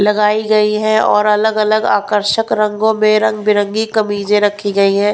लगाई गई है और अलग-अलग आकर्षक रंगों में रंगबिरंगी कमीजें रखी गई है।